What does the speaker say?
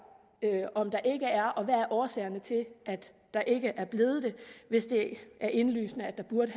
om der ikke er og hvad der er årsagen til at der ikke er hvis det er indlysende at der burde